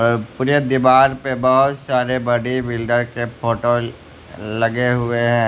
ये पूरे दीवार पे बहुत सारे बॉडी बिल्डर के फोटो लगे हुए है।